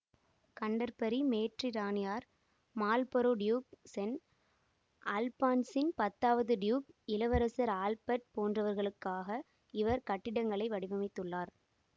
Canterbury மேற்றிராணியார் Marlborough duke சென் அல்பான்சின் பத்தாவது டியூக் இளவரசர் ஆல்பர்ட் போன்றவர்களுக்காக இவர் கட்டிடங்களை வடிவமைத்துள்ளார்